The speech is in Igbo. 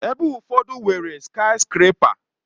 Ebe ụfọdụ nwere skayiskrepa